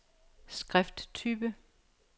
skrifttype